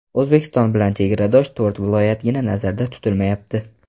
O‘zbekiston bilan chegaradosh to‘rt viloyatgina nazarda tutilmayapti.